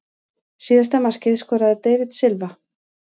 Síðasta markið skoraði David Silva.